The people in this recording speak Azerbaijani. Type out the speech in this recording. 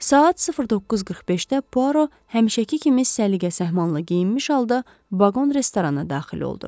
Saat 09:45-də Puaro həmişəki kimi səliqə-səhmanla geyinmiş halda vaqon restorana daxil oldu.